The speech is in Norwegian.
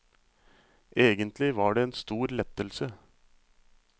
Egentlig var det en stor lettelse.